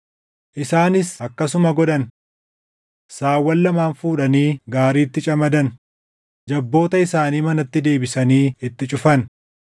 Isaanis akkasuma godhan. Saawwan lamaan fuudhanii gaariitti camadan; jabboota isaanii manatti deebisanii itti cufan.